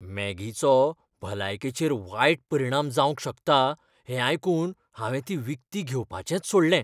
मॅगीचो भलायकेचेर वायट परिणाम जावंक शकता हें आयकून हांवें ती विकती घेवपाचेंच सोडलें.